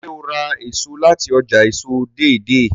ṣe o rà èso láti ọjà èso Deidei?